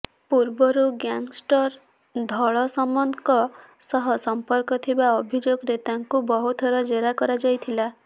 ପୂର୍ବରୁ ଗ୍ୟାଙ୍ଗଷ୍ଟର ଧଳ ସାମନ୍ତଙ୍କ ସହ ସମ୍ପର୍କ ଥିବା ଅଭିଯୋଗରେତାଙ୍କୁ ବହୁଥର ଜେରା କରାଯାଇଥିଲା